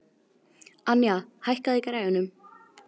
Anja, hækkaðu í græjunum.